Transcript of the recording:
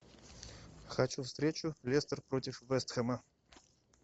хочу встречу лестер против вест хэма